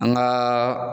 An gaa